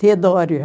Teodória.